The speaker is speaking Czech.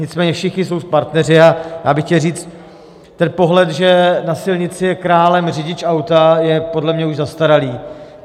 Nicméně všichni jsou partneři a já bych chtěl říct: Ten pohled, že na silnici je králem řidič auta, je podle mě už zastaralý.